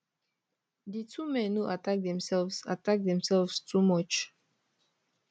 di two men no attack themselves attack themselves too much